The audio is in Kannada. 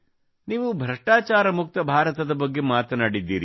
ನೀವು ಭ್ರಷ್ಟಾಚಾರ ಮುಕ್ತ ಭಾರತದ ಬಗ್ಗೆ ಮಾತನಾಡಿದ್ದೀರಿ